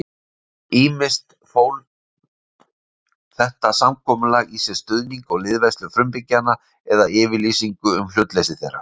Ýmist fól þetta samkomulag í sér stuðning og liðveislu frumbyggjanna eða yfirlýsingu um hlutleysi þeirra.